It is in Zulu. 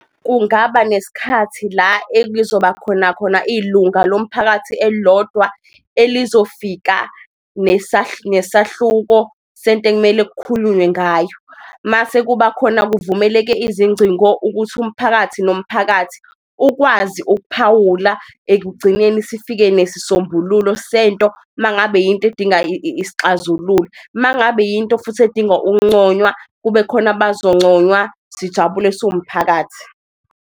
Kungaba nesikhathi la ekuzobakhona khona ilunga lomphakathi elilodwa elizofika nesahluko sento ekumele kukhulunywe ngayo mase kuba khona, kuvumeleke izingcingo ukuthi umphakathi nomphakathi ukwazi ukuphawula. Ekugcineni sifike nesisombululo sento, mangabe yinto edinga isixazululo, mangabe yinto futhi edinga ukunconywa kube khona abazonconywa sijabule siwumphakathi.